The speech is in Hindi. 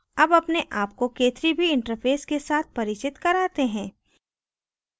अब अपने आप को k3b interface के साथ परिचित कराते हैं